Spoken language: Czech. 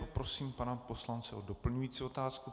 Poprosím pana poslance o doplňující otázku.